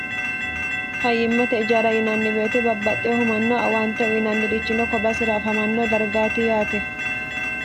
fayyimmate ijaara yinanni woyite babbaxxeehu manna awaante uyinannirichino kobasira afamanno dargaati yaate